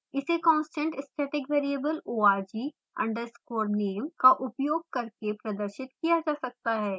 इसे constant static variable org _ name का उपोयग करके प्रदर्शित किया जा सकता है